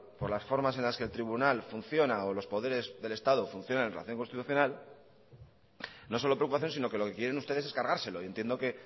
por las formas en las que el tribunal funciona o los poderes del estado funcionen en relación al tribunal constitucional no solo preocupación sino lo que quieren ustedes es cargárselo y entiendo que